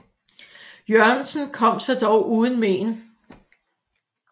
Jørgensen kom sig dog uden mén